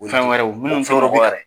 O ye fɛn wɛrɛw